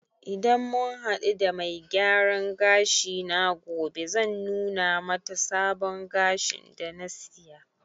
Idan mun hadu da mai gyaran gashi na gobe, zan nuna mata sabon gashin da na siya